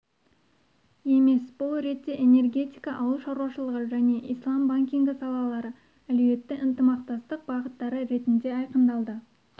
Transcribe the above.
емес бұл ретте энергетика ауыл шаруашылығы және ислам банкингі салалары әлеуетті ынтымақтастық бағыттары ретінде айқындалды